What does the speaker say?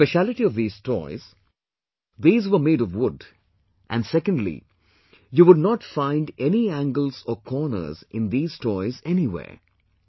The speciality of these toys these were made of wood, and secondly, you would not find any angles or corners in these toys anywhere